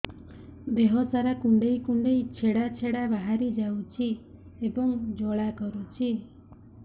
ଦେହ ସାରା କୁଣ୍ଡେଇ କୁଣ୍ଡେଇ ଛେଡ଼ା ଛେଡ଼ା ବାହାରି ଯାଉଛି ଏବଂ ଜ୍ୱାଳା କରୁଛି